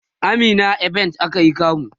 a meena event akayi kamu